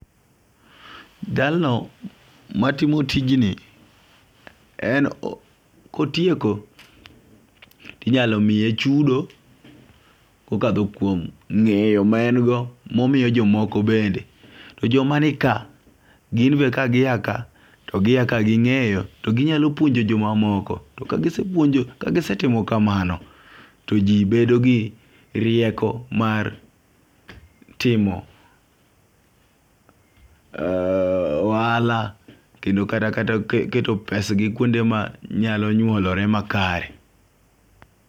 Jalno matimo tijni en kotieko tinyalo miye chudo kokadho kuom ng'eyoma en go momiyo jomoko bende .To joma nika gin be ka giya ka giya ka gi ng'eyo to ginyalo puonjo jomamoko to ka gisepuonjo jo ka gisetimo kamano to jii bedo gi rieko mar timo ohala kendo kata kata keto pes gi kuonde manyalo nyuolore makare